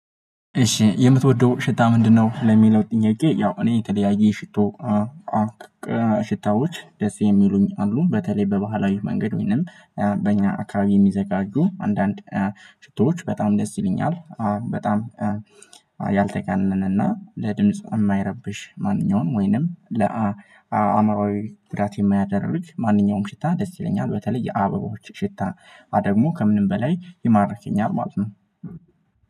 እሺ የምትወደው ሽታ ምንድነው? ለሚለው ጥያቄ ያው እኔ የተለያየ ሽቶ ሽታዎች ደስ የሚሉኝ አሉ በተለይ በባህላዊው መንገድ ወይንም በእኛ አካባቢ የሚዘጋጁ አንዳንድ ሽቶዎች በጣም ደስ ይለኛል። በጣም ያልተጋነነ እና ለድምጽ የማይረብሽ ማንኛውንም ወይንም ለአእምሮዬ ጉዳት የማያደርግ ማንኛውም ሽታ ደስ ይለኛል። በተለይ የአበባዎች ሽታ ደግሞ ከምንም በላይ የማርክኛል ማለት ነው።